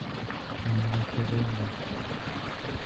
макароны